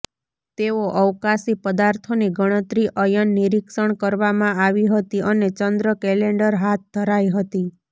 તેઓ અવકાશી પદાર્થોની ગણતરી અયન નિરીક્ષણ કરવામાં આવી હતી અને ચંદ્ર કેલેન્ડર હાથ ધરાઇ હતી